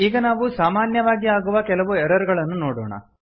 ಈಗ ನಾವು ಸಾಮಾನ್ಯವಾಗಿ ಆಗುವ ಕೆಲವು ಎರರ್ ಗಳನ್ನು ನೋಡೋಣ